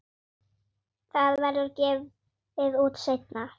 Það verður gefið út seinna.